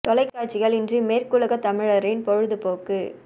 தொலைக்காட்சிகள் இன்று மேற்குலகத்தமிழரின் பொழுது போக்கு